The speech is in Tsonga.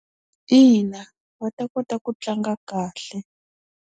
Ina va ta kota ku tlanga kahle.